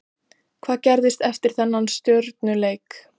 Hvað gerðist eftir þennan Stjörnuleik?